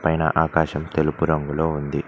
పైన ఆకాశం తెలుపు రంగులో ఉంది.